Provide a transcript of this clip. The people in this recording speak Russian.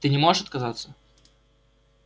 ты не можешь отказаться